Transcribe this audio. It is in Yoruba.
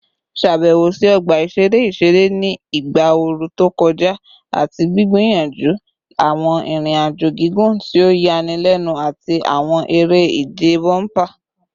Ṣabẹwo si ọgba iṣere iṣere ni igba ooru to kọja ati gbiyanju awọn irin-ajo gigun ti o yanilenu ati awọn ere-ije bomper